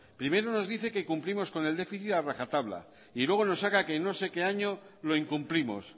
primero nos dice que cumplimos con el déficit a rajatabla y luego nos saca que en no sé qué año lo incumplimos